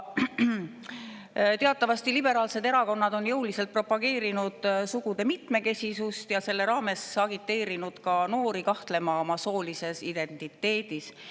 Teatavasti liberaalsed erakonnad on jõuliselt propageerinud sugude mitmekesisust ja selle raames agiteerinud ka noori kahtlema oma soolises identiteedis.